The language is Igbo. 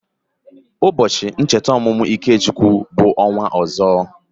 Ụbọọchi omumu Ikechukwu bu onwa ozo.